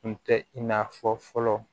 Kun tɛ i n'a fɔ fɔlɔ